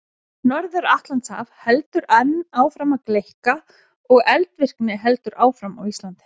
Norður-Atlantshaf heldur enn áfram að gleikka og eldvirkni heldur áfram á Íslandi.